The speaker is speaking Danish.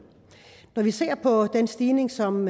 når vi ser så på den stigning som